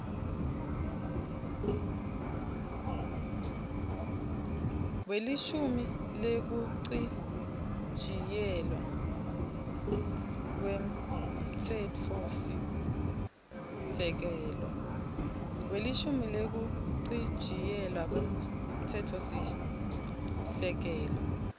welishumi wekuchitjiyelwa kwemtsetfosisekelo